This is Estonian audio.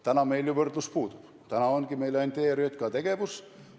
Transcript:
Praegu meil ju võrdlus puudub, meil ongi ainult ERJK tegevus.